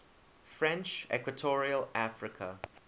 french equatorial africa